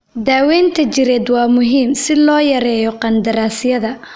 Daaweynta jireed waa muhiim si loo yareeyo qandaraasyada.